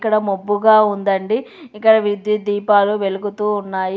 ఇక్కడ మబ్బుగా ఉందండి. ఇక్కడ విద్యుత్ దీపాలు వెలుగుతూ ఉన్నాయి.